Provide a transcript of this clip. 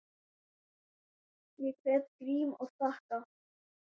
Ég kveð Grím og þakka.